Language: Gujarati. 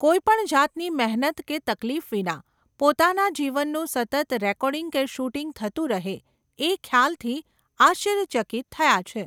કોઇ પણ જાતની મહેનત કે તકલીફ વિના, પોતાના જીવનનું સતત રેકોર્ડિંગ કે શૂટિંગ થતું રહે, એ ખ્યાલથી આશ્ચર્યચકિત થયા છે.